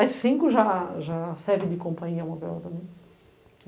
As cinco já servem de companhia móvel também.